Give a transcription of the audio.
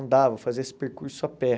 Andava, fazia esse percurso a pé.